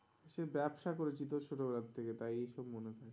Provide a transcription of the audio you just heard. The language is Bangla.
সে ব্যাবসা করেছি তো ছোট বেলার থেকে তাই এইসব মনে থাকে,